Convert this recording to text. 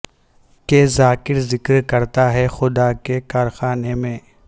کہ ذاکر ذکر کرتا ہے خدا کے کارخانے میں